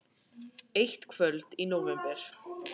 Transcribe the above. Eitt kvöld í nóvember.